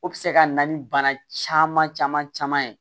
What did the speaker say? O bɛ se ka na ni bana caman caman caman ye